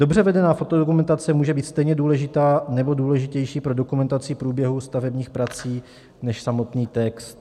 Dobře vedená fotodokumentace může být stejně důležitá nebo důležitější pro dokumentaci průběhu stavebních prací než samotný text.